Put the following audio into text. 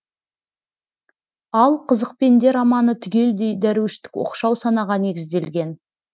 ал қызық пенде романы түгелдей дәруіштік оқшау санаға негізделген